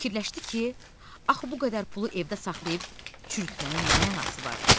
Fikirləşdi ki, axı bu qədər pulu evdə saxlayıb çürütməyin nə mənası var?